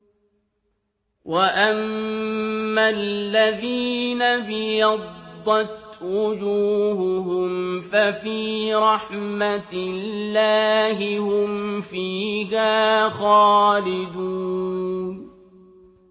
وَأَمَّا الَّذِينَ ابْيَضَّتْ وُجُوهُهُمْ فَفِي رَحْمَةِ اللَّهِ هُمْ فِيهَا خَالِدُونَ